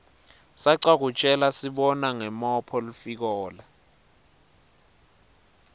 sacwa kutjelasibona ngomophg lifikola